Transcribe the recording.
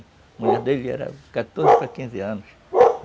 A mulher dele era de quatorze para quinze anos.